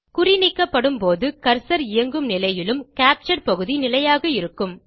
குறி நீக்கப்படும்போது கர்சர் இயங்கும் நிலையிலும் கேப்சர் பகுதி நிலையாக இருக்கும்